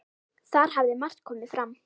Þar hafi margt komið fram.